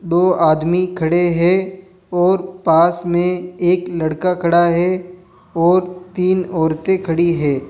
दो आदमी खड़े हैं और पास में एक लड़का खड़ा हैं और तीन औरतें खड़ी हैं।